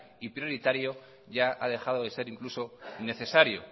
y prioritario ya ha dejado de ser incluso necesario